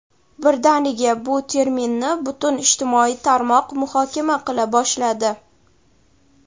birdaniga bu terminni butun ijtimoiy tarmoq muhokama qila boshladi.